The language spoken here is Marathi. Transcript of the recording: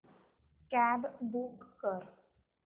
कॅब बूक कर